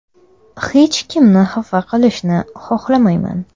Hech kimni xafa qilishni xohlamayman.